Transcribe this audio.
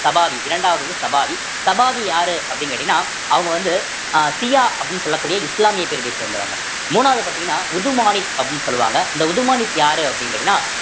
சபாதி இரண்டாவது வந்து சபாரி சபாதி யாரு அப்படின்னு கேட்டீங்கன்னா அவுங்க வந்து அஹ் சியா அப்படின்னு சொல்லக்கூடிய இஸ்லாமிய பிரிவை சேர்ந்தவங்க மூணாவது பார்த்தீங்கன்னா உதுமானிக் அப்படின்னு சொல்லுவாங்க இந்த உதுமானிக் யாரு அப்படின்னு கேட்டீங்கன்னா